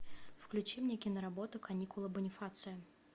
включи мне киноработу каникулы бонифация